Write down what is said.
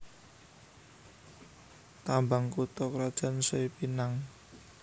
Tambang kutha krajan Sei Pinang